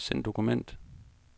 Send dokument.